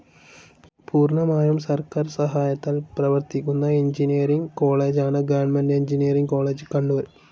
പൂർണമായും സർക്കാർ സഹായത്താൽ പ്രവർത്തിക്കുന്ന എൻജിനീയറിങ്‌ കോളേജാണ് ഗവർണ്മെന്റ്‌ എൻജിനീയറിങ്‌ കോളേജ്‌ കണ്ണൂർ.